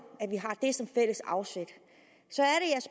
at vi har det som fælles afsæt så